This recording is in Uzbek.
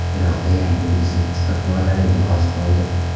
Iroqda yangi tinchlik istiqbollariga oz qoldi.